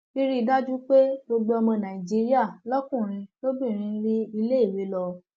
rírí i dájú pé gbogbo ọmọ nàìjíríà lọkùnrin lóbìnrin rí iléèwé lọ